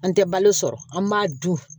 An tɛ balo sɔrɔ an b'a dun